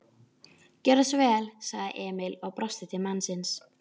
Gjörðu svo vel, sagði Emil og brosti til mannsins.